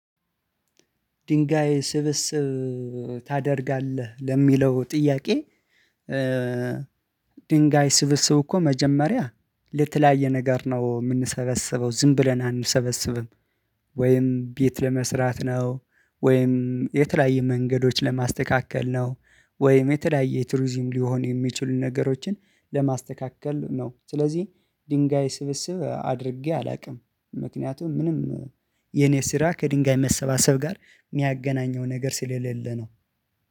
ድንጋይ ስብስብ ታደርጋለህ ለሚለው ጥያቄ? ድንጋይ ስብስብ እኮ መጀመሪያ ለተለያየ ነገር ነው የምንሰበስበው ዝም ብለን አንሰበስብም። ወይም ቤት ለመስራት ነው ወይም የተለያየ መንገዶች ለማስተካከል ነው ወይም የተዳየ ትሩዚም ሊሆን የሚችሉ ነገሮችን ለማስተካከል ነው። ስለዚህ ድንጋይ ስብስብ አድርጌ አላውቅም ምክንያቱም ምንም የኔ ስራ ከድንጋይ መሰባሰብ ጋር የሚያገናኘው ነገር ስለሌለ ነው